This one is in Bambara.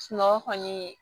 Sunɔgɔ kɔni